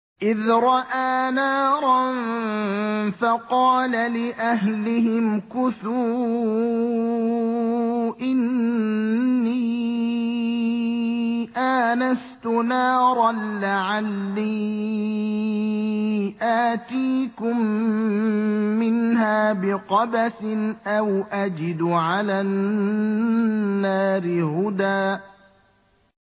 إِذْ رَأَىٰ نَارًا فَقَالَ لِأَهْلِهِ امْكُثُوا إِنِّي آنَسْتُ نَارًا لَّعَلِّي آتِيكُم مِّنْهَا بِقَبَسٍ أَوْ أَجِدُ عَلَى النَّارِ هُدًى